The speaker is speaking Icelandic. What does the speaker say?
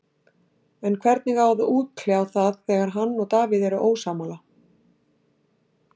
En hvernig á að útkljá það þegar hann og Davíð eru ósammála?